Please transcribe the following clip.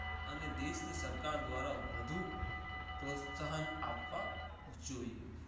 અને દેશની સરકાર દ્વારા વધુ પ્રોત્સાહન આપવા જોઈએ.